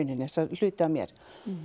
hluta af mér